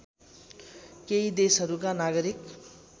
केही देशहरूका नागरिक